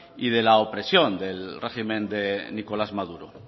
y la opresión del régimen de nicolás maduro